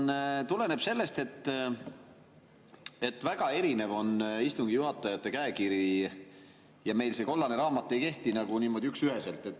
Ja küsimus tuleneb sellest, et väga erinev on istungi juhatajate käekiri ja meil see kollane raamat ei kehti nagu niimoodi üksüheselt.